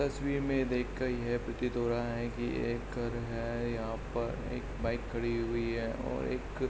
इस तस्वीर में देख के ये प्रतीत हो रहा है कि यह एक घर है। यहाँ पर एक बाइक खड़ी हुई है और एक --